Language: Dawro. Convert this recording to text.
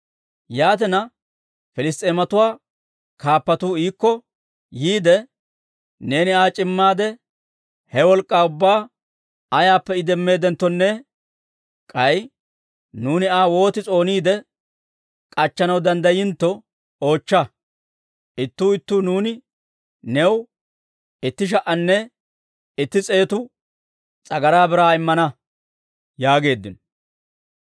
Yaatina, Piliss's'eematuwaa kaappatuu iikko yiide, «Neeni Aa c'immaade, he wolk'k'aa ubbaa ayaappe I demmeedenttonne k'ay nuuni Aa wooti s'ooniide k'achchanaw danddayintto oochcha. Ittuu ittuu nuuni new itti sha"anne itti s'eetu s'agaraa biraa immana» yaageeddino.